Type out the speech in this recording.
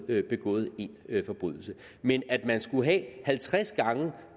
havde begået en forbrydelse men at man skulle have halvtreds gange